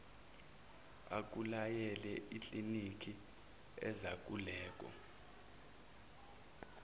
akulayele ikliniki yezaluleko